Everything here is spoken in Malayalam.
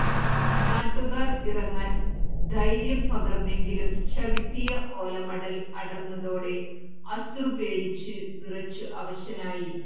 നാട്ടുകാർ ഇറങ്ങാൻ ധൈര്യം പകർന്നെങ്കിലും ചവിട്ടിയ ഓലമടൽ അടർന്നതോടെ അശ്രു പേടിച്ച് വിറച്ച് അവശനായി